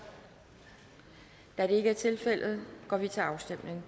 da det ikke er tilfældet går vi til afstemning